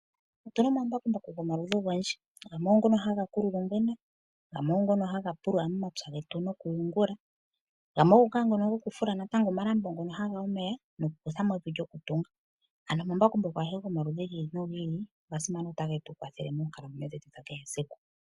Otu na omambakumbaku gomaludhi ogendji. Gamwe ogo ngono haga kulula ongwena, gamwe ogo ngono haga pulula momapya getu nokuyungula, gamwe ogo ngaa nono gokufula omalambo ngono haga yi omeya nokukutha mo evi lyokutunga. Ano omambakumbaku agehe gomaludhi gi ili nogi ili oga simana otage tu kwathele moonkalamwenyo dhetu dha kehe esiku.